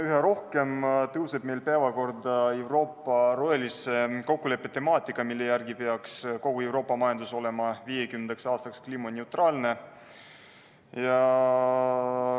Üha rohkem tõuseb meil päevakorrale Euroopa rohelise kokkuleppe temaatika, mille järgi peaks kogu Euroopa majandus olema 2050. aastaks kliimaneutraalne.